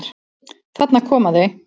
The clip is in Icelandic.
Þarna koma þau!